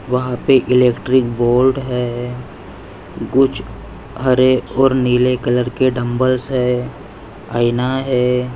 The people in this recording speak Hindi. वहा पे इलैक्ट्रिक बोर्ड है कुछ हरे और नील कलर के डम्ब्ल्स है आयना है।